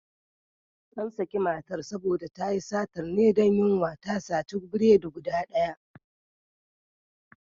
An sake matar saboda tayi satan ne don yunwa, ta sati biredi guda ɗaya.